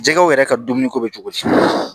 Jɛgɛw yɛrɛ ka dumuniko bɛ cogo di